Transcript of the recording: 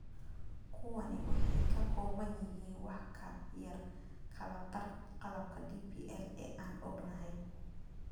Kuwani waxay ka kooban yihiin wax ka yar kala badh qalabka DPL ee aan ognahay.